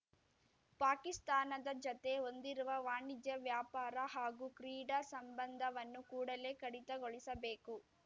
ಪಾಕಿಸ್ತಾನದ ಜತೆ ಹೊಂದಿರುವ ವಾಣಿಜ್ಯ ವ್ಯಾಪಾರ ಹಾಗೂ ಕ್ರೀಡಾ ಸಂಬಂಧವನ್ನು ಕೂಡಲೇ ಕಡಿತಗೊಳಿಸಬೇಕು